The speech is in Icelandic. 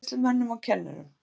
Matreiðslumönnum og kennurum